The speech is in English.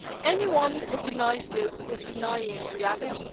Anyone who denies this is denying reality'.